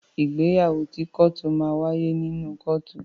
Ìgbéyàwó ti kọ́tù máa n waye nínú kọ́tù.